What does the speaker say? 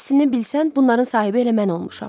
Əslini bilsən, bunların sahibi elə mən olmuşam.